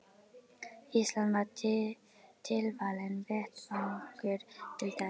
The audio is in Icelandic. Ísland var tilvalinn vettvangur til þess.